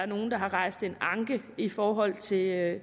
nogle der har rejst en anke i forhold til det at